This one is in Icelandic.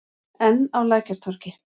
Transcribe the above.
Enn á Lækjartorgi.